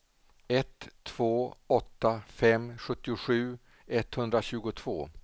ett två åtta fem sjuttiosju etthundratjugotvå